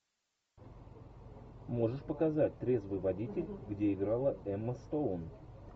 можешь показать трезвый водитель где играла эмма стоун